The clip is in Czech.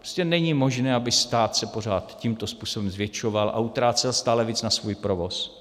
Prostě není možné, aby se stát pořád tímto způsobem zvětšoval a utrácel stále víc na svůj provoz.